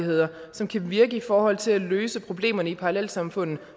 og som kan virke i forhold til at løse problemerne i parallelsamfundene